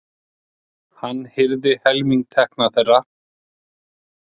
Hann hirði helming tekna þeirra.